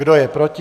Kdo je proti?